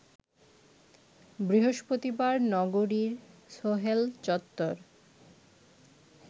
বৃহস্পতিবার নগরীর সোহেল চত্বর